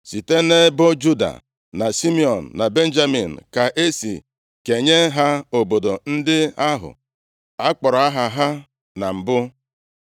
Site nʼebo Juda, na Simiọn, na Benjamin ka e si kenye ha obodo ndị ahụ a kpọrọ aha ha na mbụ.